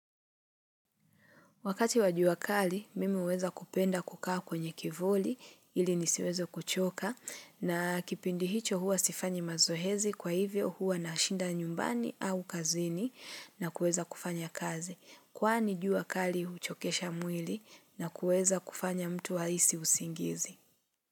Wakati wajua kali, mimi uweza kupenda kukaa kwenye kivuli ili nisiweze kuchoka na kipindi hicho huwa sifanyi mazoezi kwa hivyo huwa na shinda nyumbani au kazini na kueza kufanya kazi. Kwani jua kali huchokesha mwili na kueza kufanya mtu ahisi usingizi.